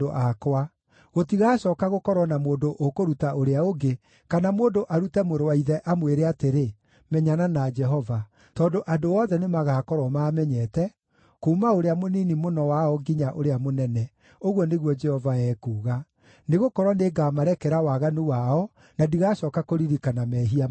Gũtigacooka gũkorwo na mũndũ ũkũruta ũrĩa ũngĩ, kana mũndũ arute mũrũ wa ithe, amwĩre atĩrĩ, ‘Menyana na Jehova,’ tondũ andũ othe nĩmagakorwo maamenyete, kuuma ũrĩa mũnini mũno wao nginya ũrĩa mũnene,” ũguo nĩguo Jehova ekuuga. “Nĩgũkorwo nĩngamarekera waganu wao, na ndigacooka kũririkana mehia mao.”